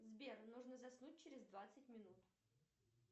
сбер нужно заснуть через двадцать минут